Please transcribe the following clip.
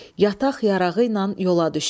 Yataq-yarağı ilə yola düşdü.